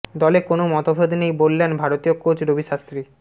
দলে কোনও মতভেদ নেই বললেন ভারতীয় কোচ রবি শাস্ত্রী